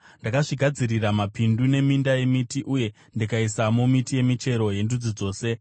Ndakazvigadzirira mapindu, neminda yemiti uye ndikasimamo miti yemichero yendudzi dzose.